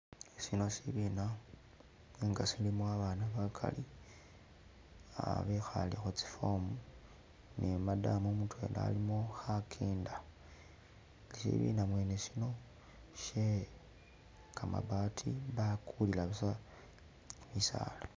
sino sibiina, nenga silimo abaana bakali, ah behale hu tsi fomu ne madam mutwela alimo hakenda, sibiina mwene sino, shye kamabati bakulira busa bisaala